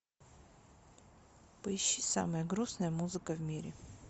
поищи самая грустная музыка в мире